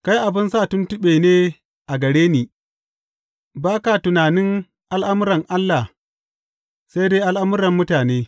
Kai abin sa tuntuɓe ne a gare ni; ba ka tunanin al’amuran Allah, sai dai al’amuran mutane.